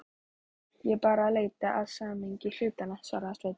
Ég er bara að leita að samhengi hlutanna, svaraði Sveinn.